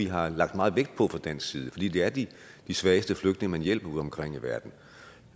har lagt meget vægt på fra dansk side fordi det er de svageste flygtninge man hjælper udeomkring i verden